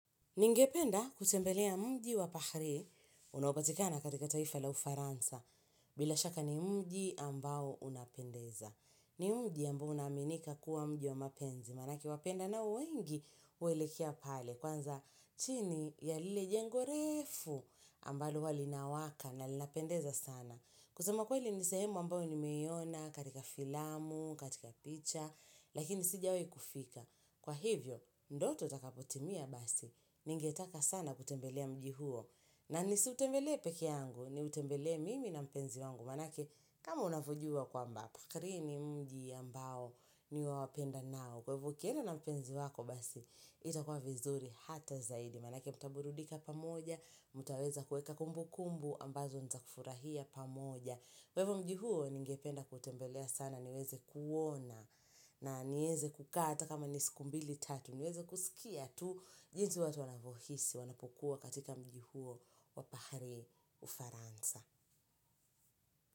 Ningependa kutembelea mji wa pahari unopatikana katika taifa la ufaransa bila shaka ni mji ambao unapendeza. Ni mji ambao unaminika kuwa mji wa mapenzi maanake wapendao wengi uwelekea pale kwanza chini ya lile jengo reefu ambalo uwa linawaka na linapendeza sana. Kusema kweli nisehemu ambao nimeiona katika filamu katika picha lakini sijawe kufika. Kwa hivyo, ndoto utakapotimia basi, ningetaka sana kutembelea mji huo na nisiutembele peke yangu, ni utembele mimi na mpenzi wangu maanake, kama unavyojua kwamba, pakri ni mji ambao ni wa wapendanao kwa hivo ukienda na mpenzi wako basi, itakua vizuri hata zaidi maanake, mtaburudika pamoja, mtaweza kueka kumbu kumbu, ambazo nizakufurahia pamoja Kwa hivo mji huo, ningependa kuutembelea sana niweze kuona na nieze kukaa ata kama nisiku mbili tatu, nieze kusikia tu jinsi watu wanavohisi, wanapokuwa katika mjihuo wapahari ufaransa.